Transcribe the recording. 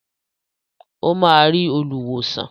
Ó máa rí olùwòsàn.